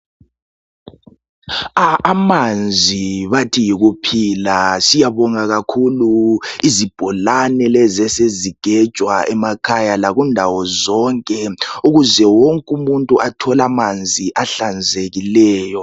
a amanzi bathi yikuphila siyabonga kakhulu izibholane lezi esezigejwa emakhaya lakundawo zonke ukuze wonke umuntu athole amanzi ahlanzekileyo